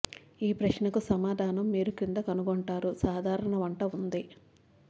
ఈ ప్రశ్నకు సమాధానం మీరు క్రింద కనుగొంటారు సాధారణ వంట ఉంది